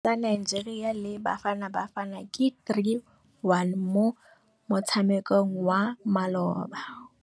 Sekôrô sa Nigeria le Bafanabafana ke 3-1 mo motshamekong wa malôba.